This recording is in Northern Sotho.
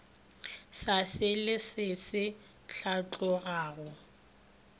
sa selee se se hlatlogago